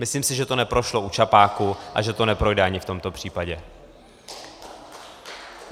Myslím si, že to neprošlo u čapáku a že to neprojde ani v tomto případě.